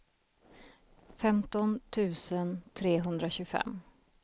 femton tusen trehundratjugofem